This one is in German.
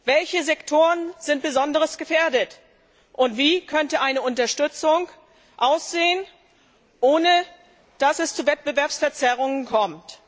Welche Sektoren sind besonders gefährdet und wie könnte eine Unterstützung aussehen, ohne dass es zu Wettbewerbsverzerrungen kommt?